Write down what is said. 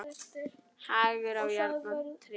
Hagur á járn og tré.